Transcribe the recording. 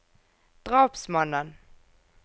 drapsmannen